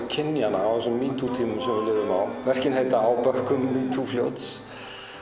kynjanna á þessum metoo tímum sem við lifum á verkin heita á bökkum metoo fljóts